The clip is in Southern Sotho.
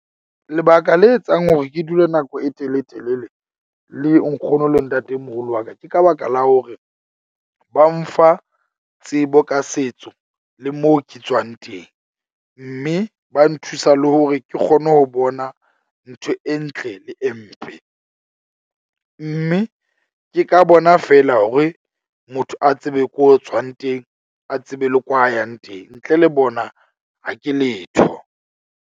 Lebaka le etsang hore ke dule nako e teletelele le nkgono le ntatemoholo wa ka. Ke ka baka la hore ba mfa tsebo ka setso le moo ke tswang teng. Mme ba nthusa le hore ke kgone ho bona ntho e ntle le e mpe, mme ke ka bona fela hore motho a tsebe ko tswang teng. A tsebe le kwa a yang teng ntle le bona ha ke letho.